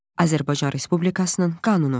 Azərbaycan Respublikasının qanunu.